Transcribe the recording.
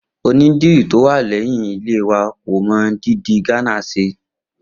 Onídìrí tó wà lé̩yìn ilé wa kò mo dídì Gánà s̩e